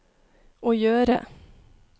å gjøre